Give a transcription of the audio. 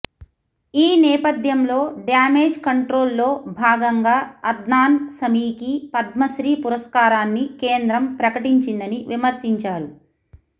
ఈ నేపథ్యంలో damage control లో భాగంగా అద్నాన్ సమీకి పద్మశ్రీ పురస్కారాన్ని కేంద్రం ప్రకటించిందని విమర్శించారు